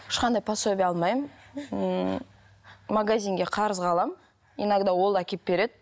ешқандай пособие алмаймын ммм магазинге қарызға аламын иногда ол әкеліп береді